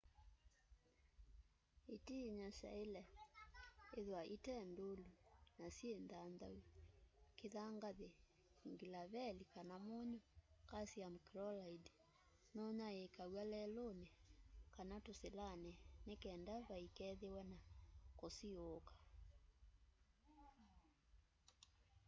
itiinyo syaile ithwa ite ndûlu na syi nthanthau. kithangathi nglaveli kana munyu calcium chloride nunyaiikaw'a leluni kana tusilani nikenda vai kethwe na kusiiuka